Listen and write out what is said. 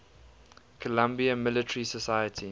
columbia military society